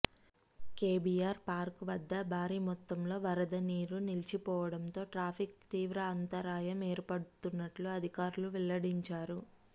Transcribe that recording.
KBR park వద్ద భారీ మొత్తంలో వరద నీరు నిలిచిపోడంతో ట్రాఫిక్కు తీవ్ర అంతరాయం ఏర్పడుతున్నట్లు అధికారులు వెల్లడించారు